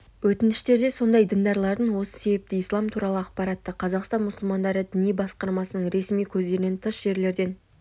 өтініштерде сондай діндарлардың осы себепті ислам туралы ақпаратты қазақстан мұсылмандары діни басқармасының ресми көздерінен тыс жерлерден